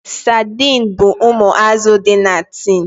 Sadin bụ ụmụ azụ dị na tin